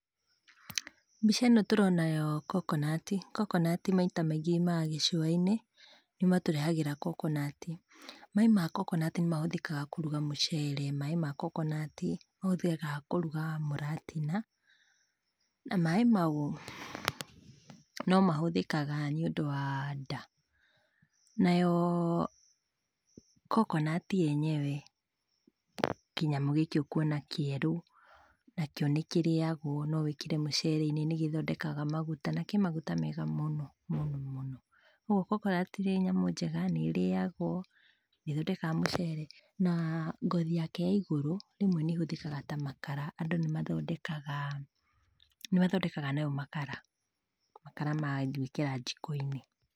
Mbica ĩno tũrona yo kokonati, kokonati maita maingĩ yumaga gĩcuwa - inĩ, nĩo matũrehagĩra kokonati, maaĩ ma kokonati nĩ mahũthĩkaga kũruga mũcere, maaĩ ma kokonati nĩ mahũthĩkaga kũruga mũratina, na maaĩ mau, no mahũthĩkaga nĩ ũndũ wa ndaa, nayoo, kokonati [yenyewe] kĩnyamũ gĩkĩ ũkwona kĩerũ, nakĩo nĩ kĩrĩagwo no wĩkĩre mũcere - inĩ, nĩgĩthondekaga maguta, na kĩmaguta mega mũno, mũno, mũno, kwoguo kokonati nĩ nyamũ njega nĩ rĩyagwo, nĩ thondekaga mũcere, na ngothi yake ya igũrũ, rĩmwe nĩ ĩhũthĩkaga ta makara, andũ nĩ mathondekaga , nĩ mathondekaga nayo makara, makara maa gwĩkĩra jikoinĩ.